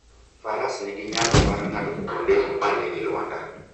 Faras nigi nyalo mar ng'ado kuonde ma nigi lwanda.